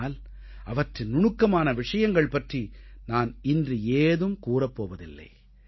ஆனால் அவற்றின் நுணுக்கமான விஷயங்கள் பற்றி நான் இன்று ஏதும் கூறப் போவதில்லை